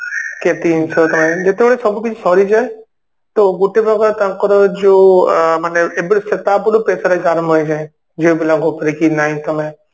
ଯେତେବେଳେ ସବୁକିଛି ସରିଯାଏ ତ ଗୋଟେପ୍ରକାର ତାଙ୍କର ଯୋଉ ଅ ମାନେ ଏବେ ତା ପୂର୍ବରୁ Pressurize ଆରମ୍ଭ ହେଇଯାଏ ଝିଆପିଲାଙ୍କ ଉପରେ କି ନାଇଁ ତମେ